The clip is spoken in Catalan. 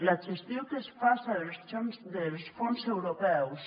la gestió que es faça dels fons europeus